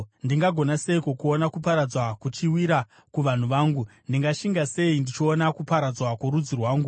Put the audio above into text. Ndingagona seiko kuona kuparadzwa kuchiwira kuvanhu vangu? Ndingashinga sei ndichiona kuparadzwa kworudzi rwangu?”